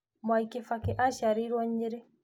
Mwai Kĩbakĩ aciarĩirwo Nyĩrĩ